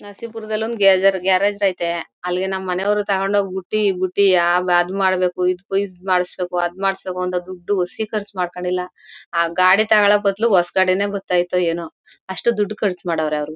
ನರಸೀಪುರದಲಿ ಒಂದು ಗ್ಯಾ ಗ್ಯಾರೇಜ್ ಐತೆ ಅಲಿಗೆ ನಮ್ ಮನೆವರ್ ತೊಗೊಂಡ್ ಹೋಗ್ ಬುಟ್ಟಿ ಬುಟ್ಟಿ ಆ ಆವ್ ಅದ್ ಮಾಡ್ಬೇಕು ಈದ್ ಮಾಡ್ಸಬೇಕು ಅದ್ ಮಾಡ್ಸಬೇಕು ಅಂತ ದುಡ್ಡು ಒಸಿ ಖರ್ಚ್ ಮಾಡ್ಕೊಂಡಿಲ್ಲ ಆ ಗಾಡಿ ತೊಗೊಳೋ ಬದ್ಲು ಹೊಸ ಗಾಡೀನೇ ಬತ್ತ ಇತ್ತೋ ಏನೋ ಅಷ್ಟು ದುಡ್ಡು ಖರ್ಚ್ ಮಾಡವ್ರೆ ಅವರು--